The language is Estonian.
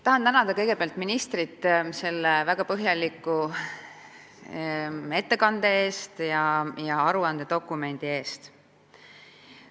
Tahan tänada kõigepealt ministrit selle väga põhjaliku ettekande eest ja aruandedokumendi eest.